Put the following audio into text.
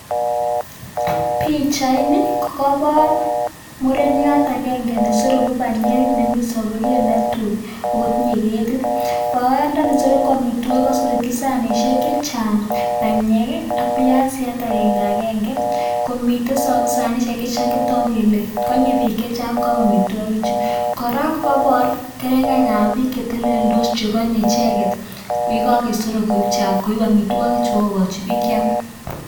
Pichaini kokebar muren murenyaaat agenge neindaiii sanisheek kora kokebar kerenganik ap piik chemitei yonitet yuuu